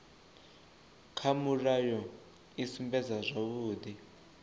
kha mulayo i sumbedza zwavhudi